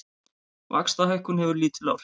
Vaxtahækkun hefur lítil áhrif